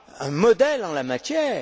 un modèle en la matière.